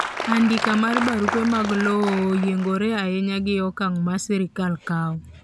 andika mar barupe mag lowo oyiengore ainya gi okang ma sirkal kawo